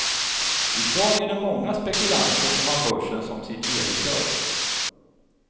I dag är det många spekulanter som har börsen som sitt levebröd.